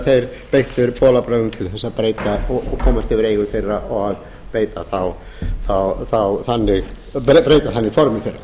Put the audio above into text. þeir beittir bolabörðgum til þess að breyta og komast yfir eigur þeirra og breyta þannig formi þeirra